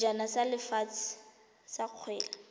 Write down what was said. sejana sa lefatshe sa kgwele